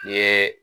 I ye